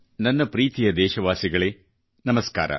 ನನ್ನ ಪ್ರೀತಿಯ ದೇಶವಾಸಿಗಳೇ ನಮಸ್ಕಾರ